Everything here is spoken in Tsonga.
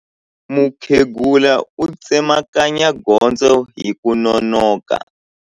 Mukhegula u tsemakanya gondzo hi ku nonoka.